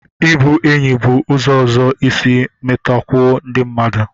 Ịbụ enyi bụ ụzọ ọzọ isi matakwuo ndị mmadụ